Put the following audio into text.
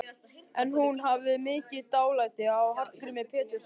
En hún hafði mikið dálæti á Hallgrími Péturssyni.